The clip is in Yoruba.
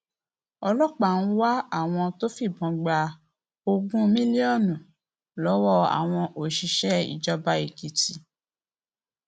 ọlọpàá ń wá àwọn tó fìbọn gba ogún mílíọnù lọwọ àwọn òṣìṣẹ ìjọba èkìtì